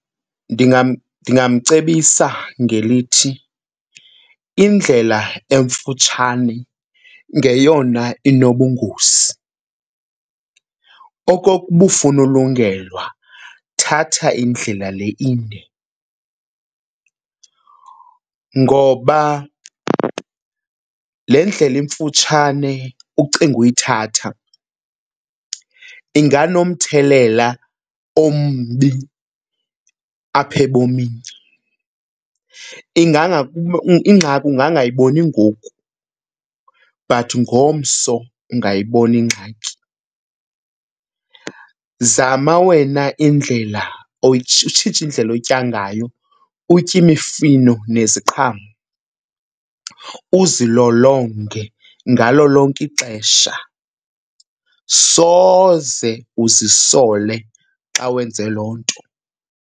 Ndingamcebisa ngelithi indlela emfutshane ngeyona inobungozi. Okokuba ufuna ulungelwa, thatha indlela le inde ngoba le ndlela imfutshane ucinga uyithatha, inganomthelela ombi apha ebomini. Ingxaki ungangayiboni ngoku but ngomso ungayibona ingxaki. Zama wena indlela utshintshe indlela otya ngayo, utye imifino neziqhamo, uzilolonge ngalo lonke ixesha. Soze uzisole xa wenze loo nto.